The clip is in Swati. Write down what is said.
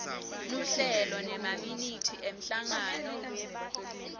luhlelo nemaminithi emhlangano